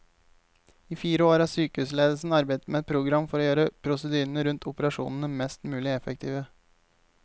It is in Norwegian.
I fire år har sykehusledelsen arbeidet med et program for å gjøre prosedyrene rundt operasjonene mest mulig effektive.